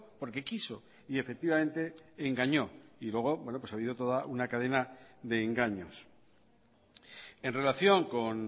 porque quiso y efectivamente engañó y luego ha habido toda una cadena de engaños en relación con